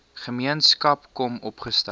gemeenskap kom opgestel